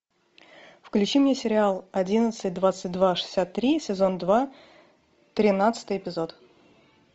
включи мне сериал одиннадцать двадцать два шестьдесят три сезон два тринадцатый эпизод